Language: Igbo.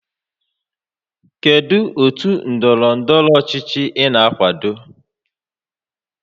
Kedu otu ndọrọ ndọrọ ọchịchị ị na-akwado?